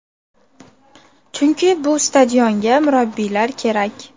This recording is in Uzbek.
Chunki bu stadionga murabbiylar kerak”.